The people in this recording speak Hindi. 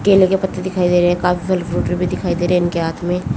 केले के पत्ते दिखाई दे रहे हैं काफी भी दिखाई दे रहे हैं इनके हाथ में--